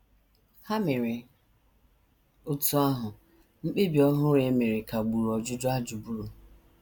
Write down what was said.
Ha mere otú ahụ, mkpebi ọhụrụ e mere kagburu ọjụjụ a jụburu.